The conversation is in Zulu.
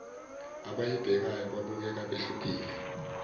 abayibhekayo babukeka behlukile